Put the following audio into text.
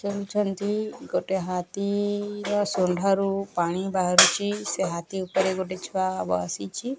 ଜେଣୁଛନ୍ତି ଗୋଟେ ହାତୀ ର ଶୁଣ୍ଢ ରୁ ପାଣି ବାହାରୁଚି ସେ ହାତୀ ଉପରେ ଗୋଟେ ଛୁଆ ବସିଛି।